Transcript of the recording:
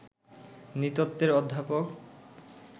নৃতত্ত্বের অধ্যাপক